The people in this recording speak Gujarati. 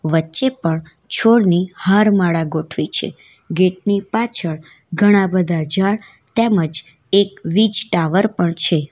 વચ્ચે પણ છોડની હાર માળા ગોઠવી છે ગેટ ની પાછળ ઘણા બધા ઝાડ તેમજ એક વીજ ટાવર પણ છે.